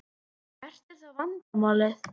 Hvert er þá vandamálið?